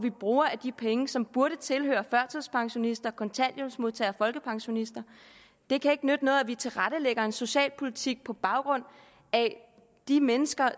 vi bruger af de penge som burde tilhøre førtidspensionister kontanthjælpsmodtagere og folkepensionister det kan ikke nytte noget at vi tilrettelægger en socialpolitik på baggrund af de mennesker